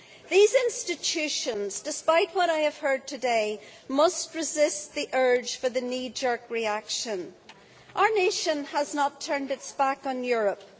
These institutions, despite what I have heard today, must resist the urge for the knee jerk reaction. Our nation has not turned its back on Europe.